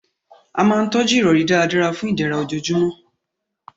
A máa n tọ́jú ìrọ̀rí dáradára fun ìdẹ̀ra ojoojúmọ́